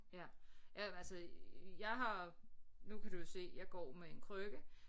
Ja ja altså jeg har nu kan du jo se jeg går med en krykke